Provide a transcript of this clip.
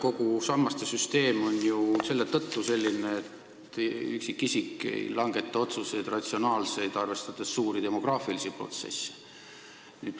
Kogu see sammaste süsteem on ju selline selle tõttu, et üksikisik ei langeta otsuseid ratsionaalselt, arvestades suuri demograafilisi protsesse.